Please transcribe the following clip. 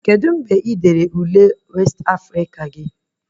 Kedu mgbe ị dere Ule westị Afrịka gị?